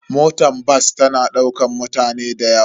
Motar bas tana daukar mutane da yawa.